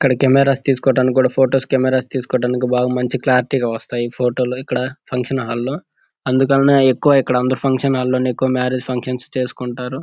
ఇక్కడ కెమెరాస్ తీసుకోడానికి కూడా ఫొటోస్ కెమెరాస్ తీసుకోడానికి బాగా మంచి క్లారిటీ గా వస్తాయి ఫోటో లు ఇక్కడ ఫంక్షన్ హాల్ లో. అందుకనే ఎక్కువ ఇక్కడ ఫంక్షన్ హాల్ లో ఎక్కువ మ్యారేజ్ ఫంక్షన్స్ చేసుకుంటారు.